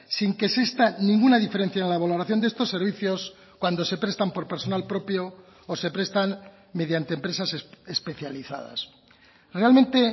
sin que exista ninguna diferencia en la valoración de estos servicios cuando se prestan por personal propio o se prestan mediante empresas especializadas realmente